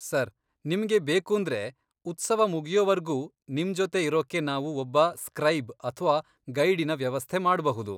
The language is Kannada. ಸರ್, ನಿಮ್ಗೆ ಬೇಕೂಂದ್ರೆ, ಉತ್ಸವ ಮುಗಿಯೋವರ್ಗೂ ನಿಮ್ಜೊತೆ ಇರೋಕ್ಕೆ ನಾವು ಒಬ್ಬ ಸ್ಕ್ರೈಬ್ ಅಥ್ವಾ ಗೈಡಿನ ವ್ಯವಸ್ಥೆ ಮಾಡ್ಬಹುದು.